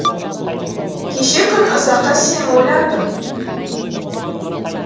кеше күн ұзаққа сені ойладым